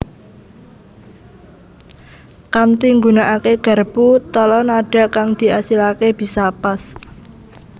Kanthi nggunakaké garpu tala nadha kang diasilaké bisa pas